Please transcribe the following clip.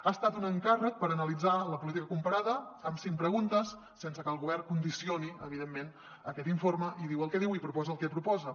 ha estat un encàrrec per analitzar la política comparada amb cinc preguntes sense que el govern condicioni evidentment aquest informe i diu el que diu i proposa el que proposa